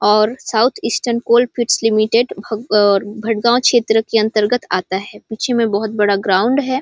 और South Eastern Coalfields Limited Bhatgaon क्षेत्र के अंतर्गत आता है पिछे में बहोत बड़ा ग्राउंड है।